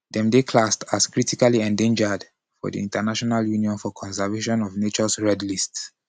dem dey classed as critically endangered for di international union for conservation of nature's red list.